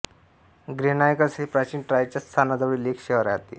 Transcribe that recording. Granicus हे प्राचीन ट्रॉयच्या स्थानाजवळील एक शहर होते